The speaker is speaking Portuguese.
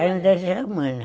Ainda é Germânia.